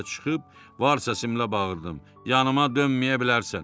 Sonra həyətə çıxıb var səsimlə bağırdım: Yanıma dönməyə bilərsən.